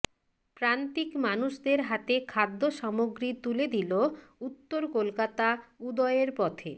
প্রান্তিক মানুষদের হাতে খাদ্যসামগ্রী তুলে দিল উত্তর কলকাতা উদয়ের পথে